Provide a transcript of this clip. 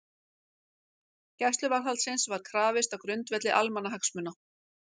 Gæsluvarðhaldsins var krafist á grundvelli almannahagsmuna